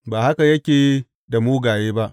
Ba haka yake da mugaye ba!